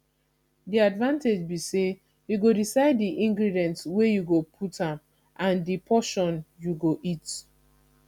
di advantage be say you go decide di ingredients wey you go put am and di portion you go eat